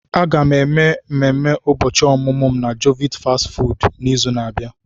Aga m eme ememe ụbọchị ọmụmụ m na jovit fastị fụụdụ n'izu na-abịa.